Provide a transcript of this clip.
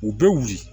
U bɛ wuli